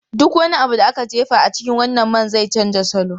Duk wani abu da aka jefa a cikin wannan man zai canza salo.